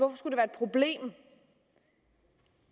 problem